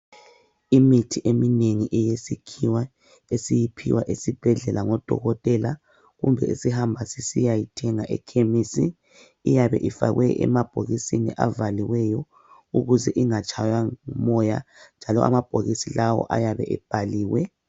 Imithi eminengi eyesikhiwa esiyiphiwa esibhedlela ngodokotela kumbe esihamba sisiyayithenga ekhemisi iyabe ifakwe emabhokisini avaliweyo ukuze ingatshaywa ngumoya njalo amabhokisi lawa ayabe ebhaliwe.